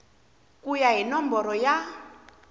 ku ya hi nomboro ya